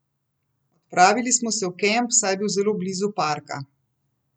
Odpravili smo se v kamp, saj je bil zelo blizu parka.